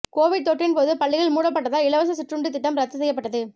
Covid தொற்றின்போது பள்ளிகள் மூடப்பட்டதால் இலவச சிற்றுண்டி திட்டம் ரத்துச் செய்யப்பட்டது